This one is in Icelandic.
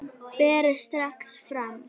Berið strax fram.